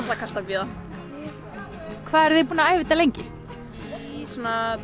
var kalt að bíða hvað eruð þið búin að æfa þetta lengi í svona